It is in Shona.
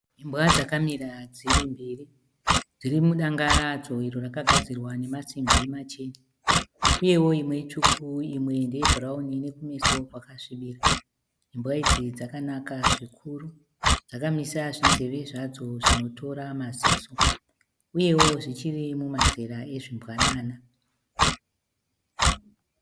Imbwa dzakamira dziri mbiri. Dziri mudanga radzo iro rakagadzirwa nemasimbi machena, uyewo imwe itsvuku imwe ndeyebhurauni ine kumeso kwakasvibira. Imbwa idzi dzakanaka zvikuru. Dzakamisa zvinzeve zvadzo zvinotora maziso uyewo zvichiri mumazera ezvimbwanana.